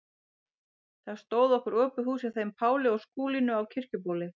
Þá stóð okkur opið hús hjá þeim Páli og Skúlínu á Kirkjubóli.